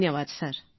ધન્યવાદ સર